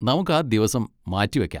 നമുക്ക് ആ ദിവസം മാറ്റിവെക്കാം.